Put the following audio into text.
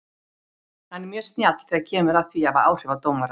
Hann er mjög snjall þegar kemur að því að hafa áhrif á dómara.